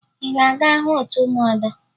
Ị ga-aga hụ otu ụmụada?